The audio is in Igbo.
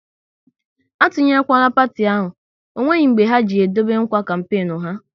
A tunyekwala parti ahụ, ọ nweghị mbe ha ji e dobe nkwa kampenu ha!